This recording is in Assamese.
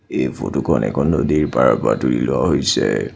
এই ফটো খন এখন নদীৰ পাৰৰ পৰা তুলি লোৱা হৈছে।